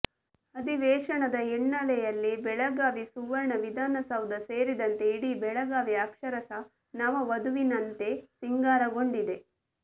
ಅಧಿವೇಶನದ ಹಿನ್ನೆಲೆಯಲ್ಲಿ ಬೆಳಗಾವಿ ಸುವರ್ಣ ವಿಧಾನಸೌಧ ಸೇರಿದಂತೆ ಇಡೀ ಬೆಳಗಾವಿ ಅಕ್ಷರಶಃ ನವ ವಧುವಿನಂತೆ ಸಿಂಗಾರಗೊಂಡಿದೆ